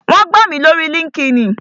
Wón gbà mí lórii líńki-inì